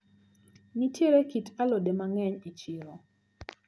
Nitiere kit alode mang`eny e chiro.